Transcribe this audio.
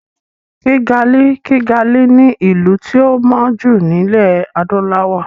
Kìgalì ( Kigali) ni ìlú tí ó mọ́ jù ní ilẹ̀ Adúláwọ̀.